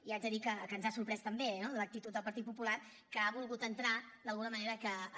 i haig de dir que ens ha sorprès també no l’actitud del partit popular que ha volgut entrar d’alguna manera a